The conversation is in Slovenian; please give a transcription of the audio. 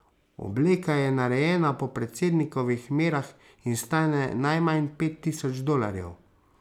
Obleka je narejena po predsednikovih merah in stane najmanj pet tisoč dolarjev.